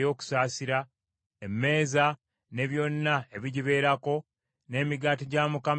emmeeza ne byonna ebigibeerako, n’emigaati egy’Okulaga;